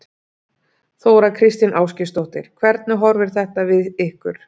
Þóra Kristín Ásgeirsdóttir: Hvernig horfir þetta við ykkur?